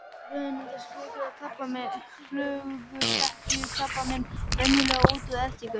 Á vörum myndast flöguþekjukrabbamein venjulega út frá ertingu.